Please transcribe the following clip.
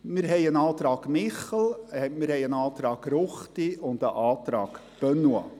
wir haben einen Antrag Michel, einen Antrag Ruchti und einen Antrag Benoit.